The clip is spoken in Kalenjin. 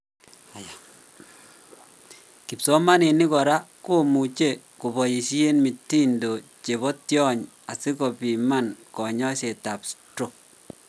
Kipsomaninik kora komuche kobaisien mitindo chebo tyon asikopiman konyoiset ab stroke